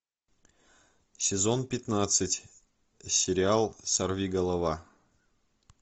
сезон пятнадцать сериал сорвиголова